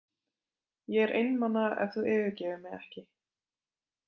Ég er einmana en þú yfirgefur mig ekki.